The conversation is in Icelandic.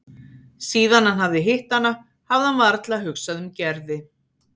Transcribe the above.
Síðan hann hafði hitt hana hafði hann varla hugsað um Gerði.